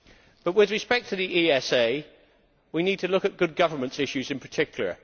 But with respect to the ESA we need to look at good governance issues in particular.